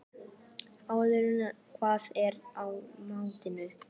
Artúr, hvað er í matinn?